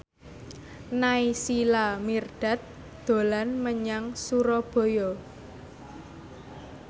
Naysila Mirdad dolan menyang Surabaya